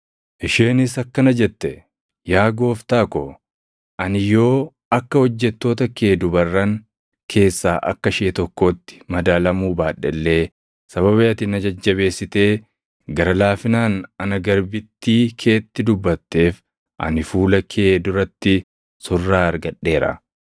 Isheenis akkana jette; “Yaa gooftaa ko, ani yoo akka hojjettoota kee dubarran keessaa akka ishee tokkootti madaalamuu baadhe illee sababii ati na jajjabeessitee gara laafinaan ana garbittii keetti dubbatteef ani fuula kee duratti surraa argadheera.”